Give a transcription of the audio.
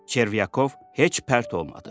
Çervyakov heç pərt olmadı.